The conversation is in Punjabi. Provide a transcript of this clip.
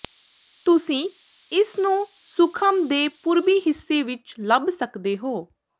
ਤੁਸੀਂ ਇਸਨੂੰ ਸੁਖਮ ਦੇ ਪੂਰਬੀ ਹਿੱਸੇ ਵਿੱਚ ਲੱਭ ਸਕਦੇ ਹੋ